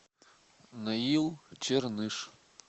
наил черныш